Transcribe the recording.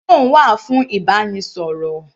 Phone wà fún ìbánisọ̀rọ̀.